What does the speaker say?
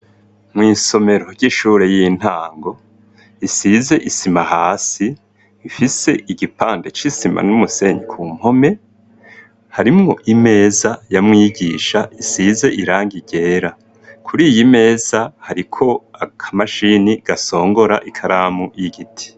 Mw' isomero ry'ishure y'intango, isize isima hasi ,ifise igipande c'isima n'umusenyi ku mpome, harimwo imeza ya mwigisha ,isize irangi ryera, kuri iyi meza hariko aka mashini gasongora ikaramu y'Igiti.